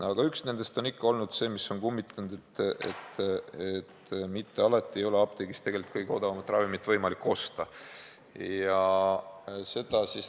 Aga üks nendest, mis on ikka kummitanud, on see, et mitte alati ei ole apteegist tegelikult võimalik kõige odavamat ravimit osta.